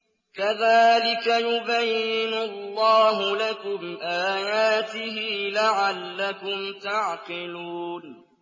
كَذَٰلِكَ يُبَيِّنُ اللَّهُ لَكُمْ آيَاتِهِ لَعَلَّكُمْ تَعْقِلُونَ